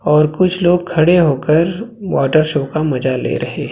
और कुछ लोग खड़े होकर वाटर शो का मजा ले रहे--